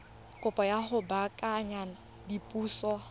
kopo ya go baakanya diphoso